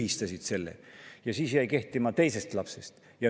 Siis jäi kehtima teisest lapsest.